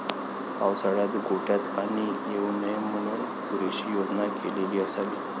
पावसाळ्यात गोठ्यात पाणी येऊ नये म्हणून पुरेशी योजना केलेली असावी.